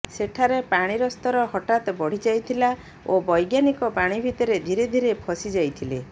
ସେଠାରେ ପାଣିର ସ୍ତର ହଠାତ୍ ବଢ଼ି ଯାଇଥିଲା ଓ ବୈଜ୍ଞାନିକ ପାଣି ଭିତରେ ଧୀରେ ଧୀରେ ଫଶି ଯାଇଥିଲେ